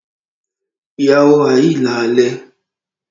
Ìåäó òåì íà÷àìè.